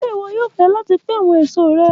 Ṣe iwọ yoo fẹ lati pin awọn eso rẹ?